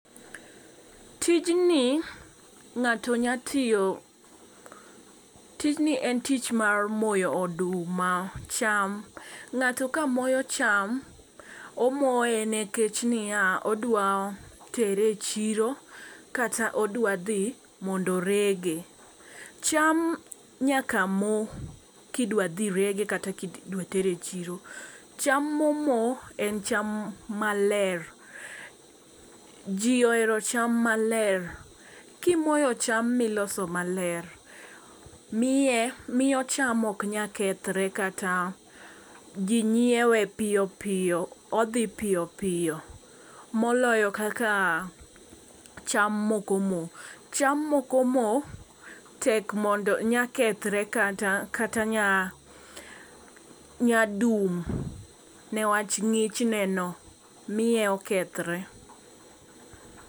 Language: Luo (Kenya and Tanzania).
Tijni ng'ato nya tiyo tijni en tich mar moyo oduma cham. Ng'ato ka moyo cham omoye nekech niya ,odwa tere chiro kata odwa dhi mondo orege. Cham nyaka moo kidwa dhi rege kata kidwa tere chiro cham momo en cham maler . Jii ohero cham maler kimoyo cham miloso maler miye miyo cham ok nya kethre kata jii nyiewe piyo piyo odhi piyo piyo moloyo kaka cham mok omo. Cham moko moo tek mondo nya kethre kata nya nya dum ne wach ng'ich neno miye okethre.